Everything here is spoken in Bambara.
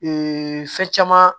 fɛn caman